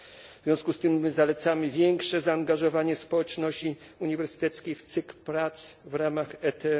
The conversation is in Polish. W związku z tym zalecamy większe zaangażowanie społeczności uniwersyteckiej w cykl prac w ramach ET